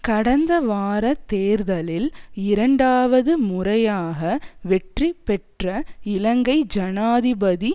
கடந்த வார தேர்தலில் இரண்டாவது முறையாக வெற்றி பெற்ற இலங்கை ஜனாதிபதி